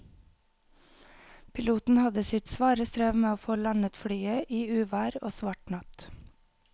Piloten hadde sitt svare strev med å få landet flyet i uvær og svart natt.